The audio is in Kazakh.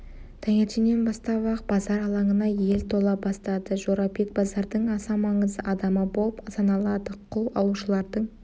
таңертеңнен бастап-ақ базар алаңына ел тола бастады жорабек базардың аса маңызды адамы болып саналады құл алушылардың